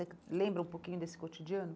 lembra um pouquinho desse cotidiano?